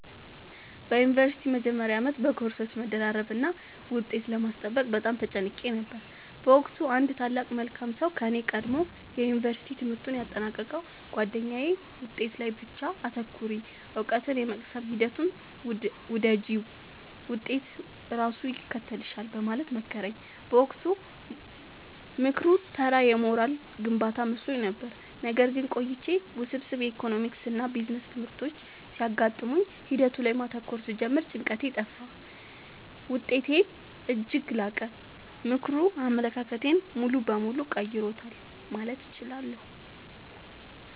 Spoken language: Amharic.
በዩኒቨርሲቲ መጀመሪያ ዓመት በኮርሶች መደራረብና ውጤት ለማስጠበቅ በጣም ተጨንቄ ነበር። በወቅቱ አንድ ታላቅ መልካም ሰው ከኔ ቀድሞ የዩንቨርስቲ ትምህርቱን ያጠናቀቀው ጉአደኛዬ «ውጤት ላይ ብቻ አታተኩሪ: እውቀትን የመቅሰም ሂደቱን ውደጂው፣ ውጤት ራሱ ይከተልሻል» በማለት መከረኝ። በወቅቱ ምክሩ ተራ የሞራል ግንባታ መስሎኝ ነበር። ነገር ግን ቆይቼ ውስብስብ የኢኮኖሚክስና ቢዝነስ ትምህርቶች ሲገጥሙኝ ሂደቱ ላይ ማተኮር ስጀምር ጭንቀቴ ጠፋ: ውጤቴም እጅግ ላቀ። ምክሩ አመለካከቴን ሙሉ በሙሉ ቀይሮታል ማለት እችላለሁ።